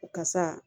Kasa